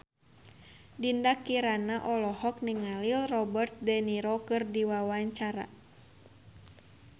Dinda Kirana olohok ningali Robert de Niro keur diwawancara